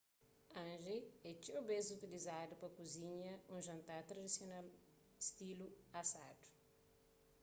hangi é txeu bês utilizadu pa kuzinha un jantar tradisional stilu asadu